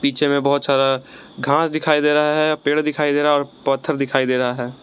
पीछे में बहोत सारा घास दिखाई दे रहा है पेड़ दिखाई दे रहा है और पत्थर दिखाई दे रहा है।